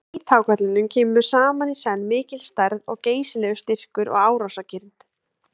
Í hvíthákarlinum kemur saman í senn mikil stærð og geysilegur styrkur og árásargirnd.